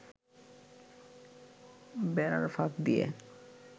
বেড়ার ফাঁক দিয়ে